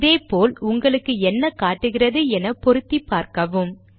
இதே போல் உங்களுக்கு என்ன காட்டுகிறது என பொருத்திப் பார்க்கவும்